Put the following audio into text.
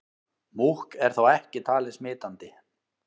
Múkk er þó ekki talið smitandi.